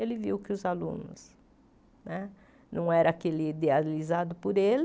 Ele viu que os alunos né não eram aqueles idealizados por ele.